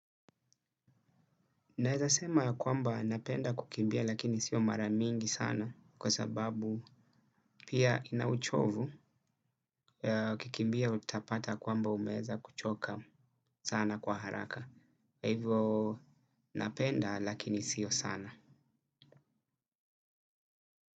Naeza sema ya kwamba napenda kukimbia lakini sio mara mingi sana kwa sababu, pia ina uchovu, ukikimbia utapata kwamba umeweza kuchoka sana kwa haraka. Kwa hivo napenda lakini sio sana.